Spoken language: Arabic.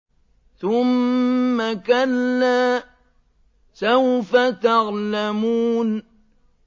ثُمَّ كَلَّا سَوْفَ تَعْلَمُونَ